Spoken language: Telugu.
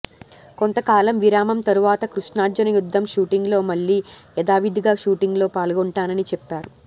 కొంతకాలం విరామం తరువాత కృష్ణార్జున యుద్ధం షూటింగ్ లో మళ్లీ యథావిధిగా షూటింగ్ లో పాల్గొంటానని చెప్పారు